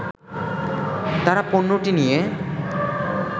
তারা পণ্যটি নিয়ে